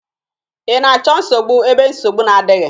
Ị na-achọ nsogbu ebe nsogbu na-adịghị?